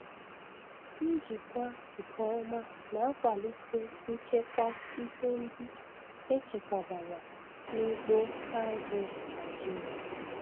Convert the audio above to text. Njikwa nke ọma na-akwalite nchekwa ihe ndị echekwabara n'ugbo azụ̀ Naịjiria.